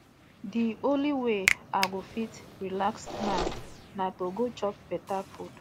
the only way i go fit relax now na to go chop beta food